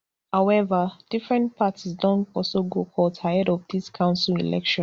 however different parties don also go court ahead of dis council election